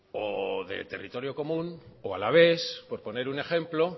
o de territorio común o alavés por poner un ejemplo